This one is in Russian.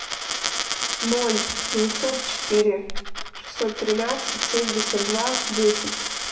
ноль девятьсот четыре шестьсот тринадцать семьдесят два десять